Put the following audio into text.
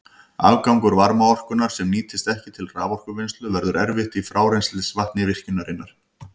Afgangur varmaorkunnar, sem nýtist ekki til raforkuvinnslu, verður eftir í frárennslisvatni virkjunarinnar.